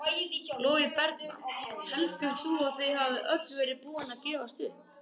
Logi Bergmann: Heldur þú að þið hafið öll verið búin að gefast upp?